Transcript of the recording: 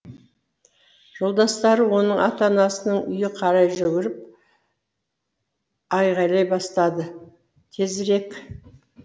жолдастары оның ата анасының үйіне қарай жүгіріп айғайлай бастады тезірек